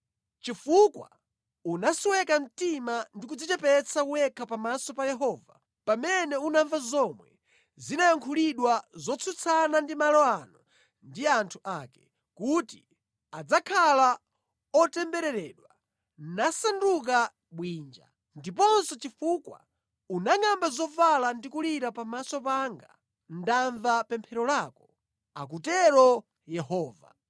Chifukwa unasweka mtima ndi kudzichepetsa wekha pamaso pa Yehova, pamene unamva zomwe zinayankhulidwa zotsutsana ndi malo ano ndi anthu ake, kuti adzakhala otembereredwa nasanduka bwinja, ndiponso chifukwa unangʼamba zovala ndi kulira pamaso panga, ndamva pemphero lako, akutero Yehova.